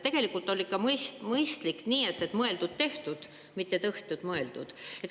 Tegelikult on mõistlik nii, et mõeldud-tehtud, mitte tehtud-mõeldud.